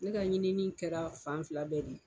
Ne ka ɲinini kɛra fan fila bɛɛ de ye